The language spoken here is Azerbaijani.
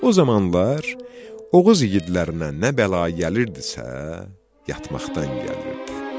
O zamanlar Oğuz igidlərinə nə bəla gəlirdisə, yatmaqdan gəlirdi.